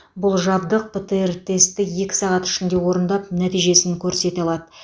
бұл жабдық птр тестті екі сағат ішінде орындап нәтижесін көрсете алады